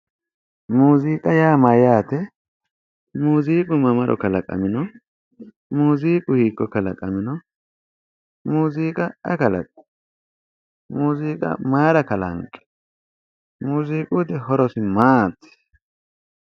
Muuziiqa yaa mayyaate muuziiqu mamaro kalaqamino muuziiqu hiikko kalaqamino muuziiqa ayi kalaqino muuziiqa mayira kalanqi muuziiquyiti horosi maati